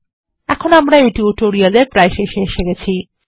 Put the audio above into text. এখন আমরা এই টিউটোরিয়াল এর শেষে এসেছি